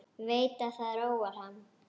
Veit að það róar hann.